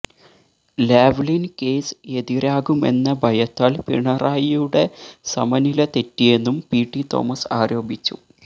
Lavalin case എതിരാകുമെന്നഭയത്താല് പിണറായിയുടെ സമനില തെറ്റിയെന്നും പി ടി തോമസ് ആരോപിച്ചു